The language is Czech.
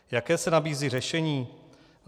Jaké se nabízí řešení?